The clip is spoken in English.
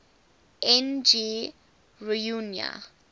n g rjuna